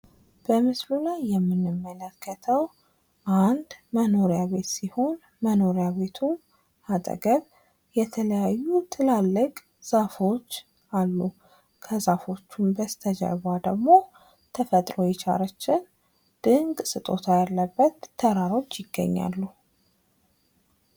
በምስሉ ላይ የምንመለከተው አንድ መኖሪያ ቤት ሲሆን መኖሪያ ቤቱ አጠገብ የተለያዩ ትላልቅ ዛፎች ዛአሉ። ከዛፎቹ በስተጀርባ ደግሞ ተፈጥሮ የቸረችን ድንቅ ስጦታ ያለበት ተራሮች ይገኛሉ።